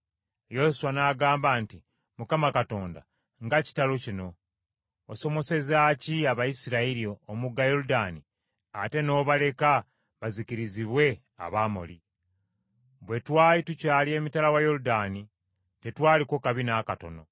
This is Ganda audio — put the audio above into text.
Yoswa n’agamba nti, “ Mukama Katonda nga kitalo kino! Wasomosezaaki Abayisirayiri omugga Yoludaani ate n’obaleka bazikirizibwe Abamoli? Bwe twali tukyali emitala wa Yoludaani tetwaliko kabi n’akatono!